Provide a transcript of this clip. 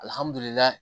Alihamudulila